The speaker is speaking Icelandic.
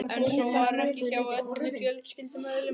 En svo var ekki hjá öllum fjölskyldumeðlimum.